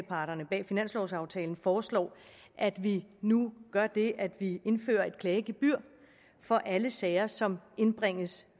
parterne bag finanslovaftalen foreslår at vi nu gør det at vi indfører et klagegebyr for alle sager som indbringes